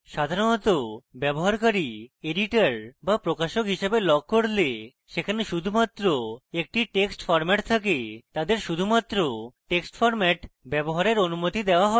সাধারণত ব্যবহারকারী editor বা প্রকাশক হিসেবে logs করলে সেখানে শুধুমাত্র একটি text format থাকে তাদের শুধুমাত্র text format ব্যবহারের অনুমতি দেওয়া হয়